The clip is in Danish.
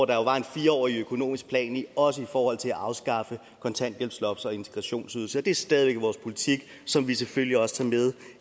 der jo var en fire årig økonomisk plan også i forhold til at afskaffe kontanthjælpsloft og integrationsydelse det er stadig væk vores politik som vi selvfølgelig også tager med